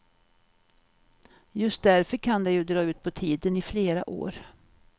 Just därför kan det ju dra ut på tiden i flera år.